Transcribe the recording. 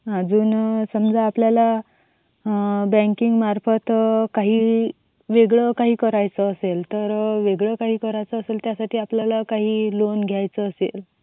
अच्छा अजून समजा आपल्याला बँकिंग मार्फत काही वेगळं काही करायचं असेल तर त्यासाठी आपल्याला काही लोन वगैरे घ्यायचं असेल.